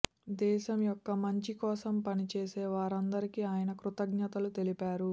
దేశం యొక్క మంచి కోసం పనిచేసే వారందరికీ ఆయన కృతజ్ఞతలు తెలిపారు